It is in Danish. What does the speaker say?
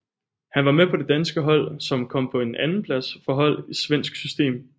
Han var med på det danske hold som kom på en andenplads for hold i svensk system